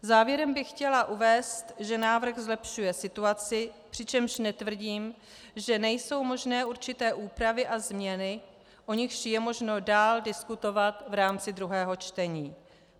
Závěrem bych chtěla uvést, že návrh zlepšuje situaci, přičemž netvrdím, že nejsou možné určité úpravy a změny, o nichž je možno dál diskutovat v rámci druhého čtení.